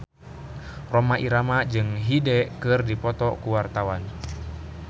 Rhoma Irama jeung Hyde keur dipoto ku wartawan